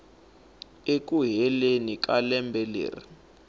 eku heleni ka lembe leri